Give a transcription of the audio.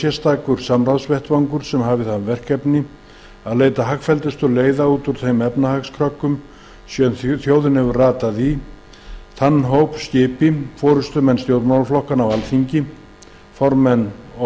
sérstakur samráðsvettvangur sem hafi það verkefni að leita hagfelldustu leiða út úr þeim efnahagskröggum sem þjóðin hefur ratað í þann hóp skipi fyrsta